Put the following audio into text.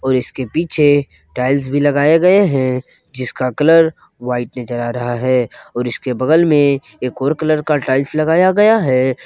और इसके पीछे टाइल्स भी लगाए गए हैं जिसका कलर वाइट नजर आ रहा है और इसके बगल में एक और कलर का टाइल्स लगाया गया है।